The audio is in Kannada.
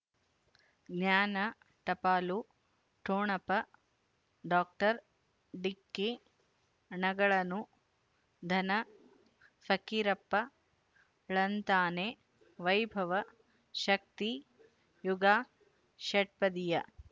ಜ್ಞಾನ ಟಪಾಲು ಠೊಣಪ ಡಾಕ್ಟರ್ ಢಿಕ್ಕಿ ಣಗಳನು ಧನ ಫಕೀರಪ್ಪ ಳಂತಾನೆ ವೈಭವ್ ಶಕ್ತಿ ಯುಗ ಷಟ್ಪದಿಯ